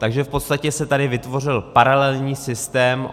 Takže v podstatě se tady vytvořil paralelní systém.